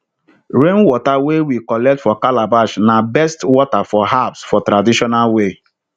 rainwater wey we collect for calabash na best water for herbs for traditional way